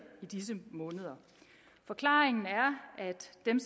i disse måneder forklaringen